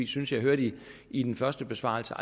synes jeg hørte i den første besvarelse